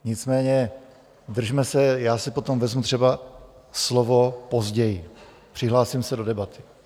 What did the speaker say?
Nicméně držme se... já si potom vezmu třeba slovo později, přihlásím se do debaty.